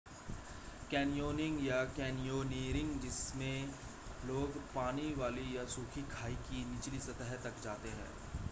canyoning या: canyoneering जिसमें लोग पानी वाली या सूखी खाई की निचली सतह तक जाते हैं